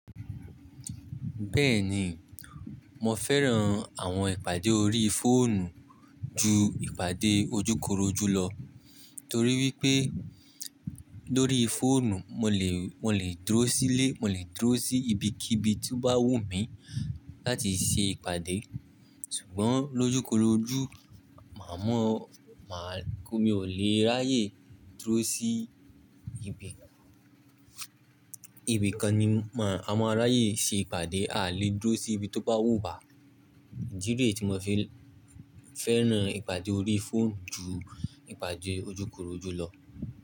Bẹ́ẹ̀ni, mo fẹ́ran àwọn ìpàdé orí fóònù ju ìpàdé ojúkorojú lọ, torí wípé lórí fóònù mo lè, mo lè dúró sílé, mo lè dúró sí ibi kíbi tí ó bá wùn mí láti ṣe ìpàdé. Ṣùgbọ́n lójúkorojú, màá mọ̀, màá kó mi ò lè ráyè dúró sí ibi, ibi kan ni a máa ráyè ṣe ìpàdé, aà lè dúró sí ibi tó bá wùn wà. Ìdí rèé tí mo fi fẹ́ran ìpàdé orí fóònù ju ìpàdé ojúkorojú lọ.